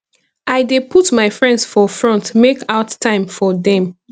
i dey put my friends for front make out time for dem